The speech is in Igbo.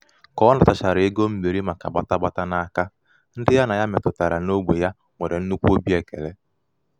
ka ọ nàtàchàrà ego mbìri màkà gbàta gbàta n’aka ndi̩ ya nà ha mètụ̀tàrà n’ogbè ya nwèrè nnukwu obi èkèle.